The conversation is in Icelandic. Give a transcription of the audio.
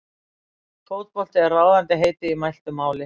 Fótbolti er ráðandi heiti í mæltu máli.